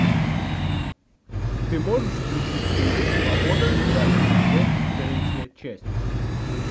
ты можешь включить кино свобода пятый сезон третья часть